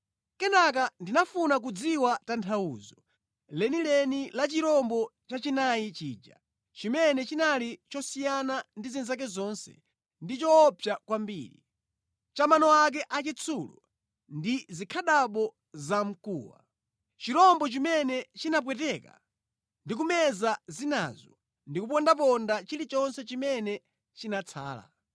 “Kenaka ndinafuna kudziwa tanthauzo lenileni la chirombo chachinayi chija, chimene chinali chosiyana ndi zinzake zonse ndi choopsa kwambiri, cha mano ake achitsulo ndi zikhadabo zamkuwa; chirombo chimene chinapweteka ndi kumeza zinazo ndi kupondaponda chilichonse chimene chinatsala.